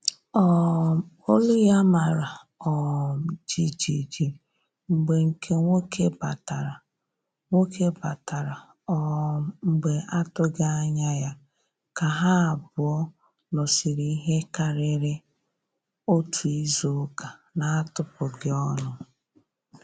um Olu ya mara um jijiji mgbe nke nwoke batara nwoke batara um mgbe atụghị anya ya, ka ha abụọ nọsiri ihe karịrị otu izuụka na-atụpụghi ọnụ